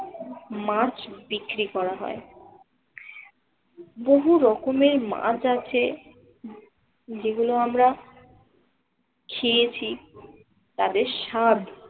মাছ বিক্রি করা হয়। বহু রকমের মাছ আছে যেগুলো আমরা খেয়েছি, তাদের স্বাদ